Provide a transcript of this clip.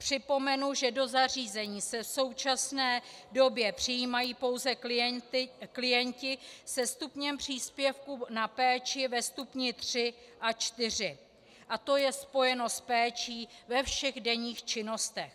Připomenu, že do zařízení se v současné době přijímají pouze klienti se stupněm příspěvku na péči ve stupni III a IV a to je spojeno s péčí ve všech denních činnostech.